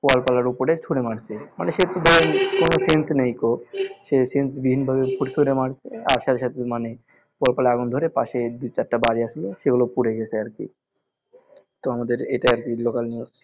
কলতলার ওপরেই ছুড়ে মারছে মানে সে কোনো sence নেইকো সে sence বিহীনভাবে মারছে আর সাথে সাথে মানে আগুন ধরে পশে দুই চাইরটা বাড়ি আছিলো সেগুলো পুড়ে গেছে আর কি তো আমাদের এটাই আর কি local news